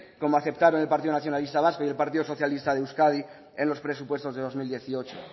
como aceptaron el partido nacionalista vasco y el partido socialista de euskadi en los presupuestos del dos mil dieciocho